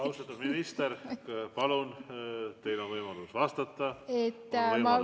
Austatud minister, palun, teil on võimalus vastata, on võimalus vaikida.